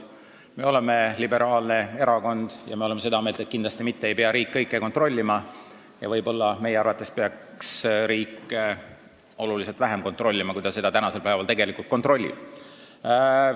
Me oleme liberaalne erakond ja oleme seda meelt, et kindlasti mitte ei pea riik kõike kontrollima, meie arvates peaks riik võib-olla oluliselt vähem kontrollima, kui ta seda tänasel päeval tegelikult teeb.